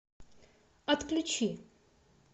отключи